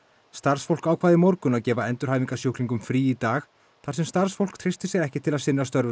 starfsfólk ákvað í morgun að gefa endurhæfingasjúklingum frí í dag þar sem starfsfólk treysti sér ekki til að sinna störfum